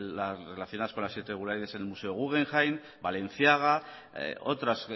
las relacionadas con la irregularidades en el museo guggenheim balenciaga otras